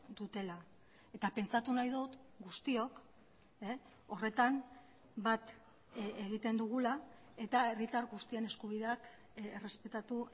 dutela eta pentsatu nahi dut guztiok horretan bat egiten dugula eta herritar guztien eskubideak errespetatu